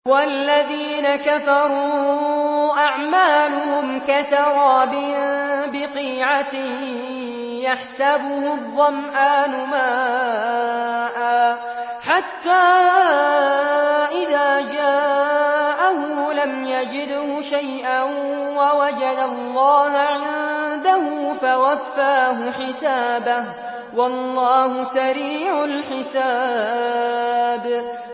وَالَّذِينَ كَفَرُوا أَعْمَالُهُمْ كَسَرَابٍ بِقِيعَةٍ يَحْسَبُهُ الظَّمْآنُ مَاءً حَتَّىٰ إِذَا جَاءَهُ لَمْ يَجِدْهُ شَيْئًا وَوَجَدَ اللَّهَ عِندَهُ فَوَفَّاهُ حِسَابَهُ ۗ وَاللَّهُ سَرِيعُ الْحِسَابِ